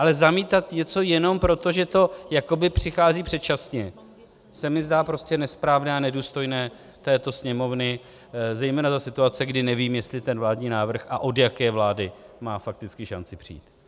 Ale zamítat něco jenom proto, že to jakoby přichází předčasně, se mi zdá prostě nesprávné a nedůstojné této Sněmovny zejména za situace, kdy nevím, jestli ten vládní návrh a od jaké vlády má fakticky šanci přijít.